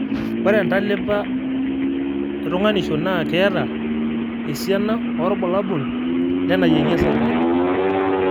ore entalipa etunganisho naa keeta esiana oorbulabul le naiyengi osarge